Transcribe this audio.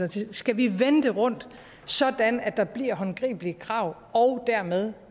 til skal vi vende det rundt sådan at der bliver håndgribelige krav og dermed